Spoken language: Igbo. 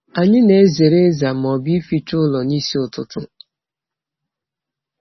Anyị na-ezere ịza ma ọ bụ ịficha ụlọ n'isi ụtụtụ.